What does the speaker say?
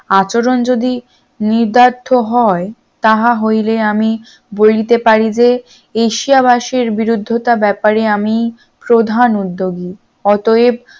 আচরণ যদি নিদার্থ হয় তাহা হইলে আমি বলিতে পারিবে দেশবাসীর বিরুদ্ধতা ব্যাপারে আমি প্রধান উদ্যোগী অতএব